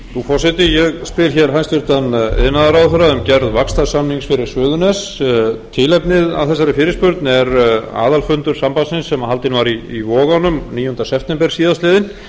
forseti ég spyr hæstvirtur iðnaðarráðherra um gerð vaxtarsamnings fyrir suðurnes tilefni að þessari fyrirspurn er aðalfundur sambandsins sem haldinn var í vogunum níunda september síðastliðinn